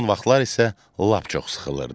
Son vaxtlar isə lap çox sıxılırdı.